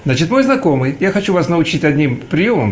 значит мой знакомый я хочу вас научит одним приёмам